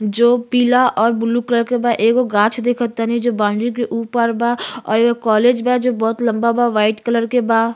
जो पीला और ब्लू कलर के बा। एगो गाछ देखअतानी जो बॉउंड्री के ऊपर बा और एक कॉलेज बा जो बहुत लम्बा बावाइट कलर के बा।